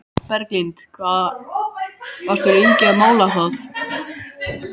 Berglind: Hvað varstu lengi að mála það?